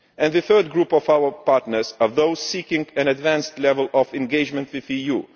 The third group of our partners are those seeking an advanced level of engagement with the EU.